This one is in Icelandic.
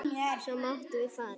Svo máttum við fara.